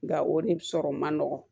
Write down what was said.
Nka o ni sɔrɔ man nɔgɔ